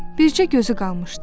Bircə gözü qalmışdı.